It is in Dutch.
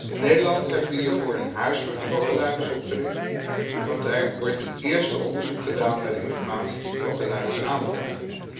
In Nederland hebben we hiervoor een huis voor de klokkenluiders opgericht, en daar wordt een eerste onderzoek gedaan naar de informatie die klokkenluiders aandragen.